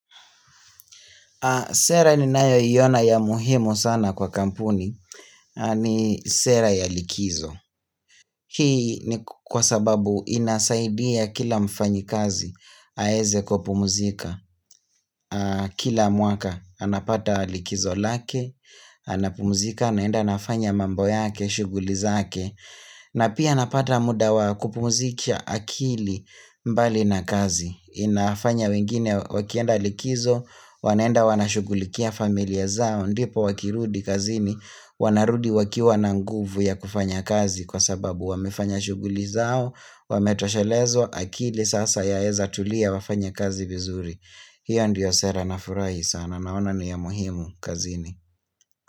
Sera ninayoiona ya muhimu sana kwa kampuni ni sera ya likizo. Hii ni kwa sababu inasaidia kila mfanyikazi aweze kupumzika. Kila mwaka anapata likizo lake, anapumuzika, anaenda anafanya mambo yake, shuguli zake. Na pia anapata muda wa kupumzika akili mbali na kazi. Inafanya wengine wakienda likizo wanaenda wana shugulikia familia zao ndipo wakirudi kazini Wanarudi wakiwa na nguvu ya kufanya kazi Kwa sababu wamefanya shuguli zao Wametoshelezwa akili sasa yaweza tulia wafanya kazi vizuri hiyo ndiyo sera na furahi sana Naona ni ya muhimu kazini.